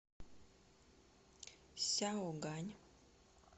сяогань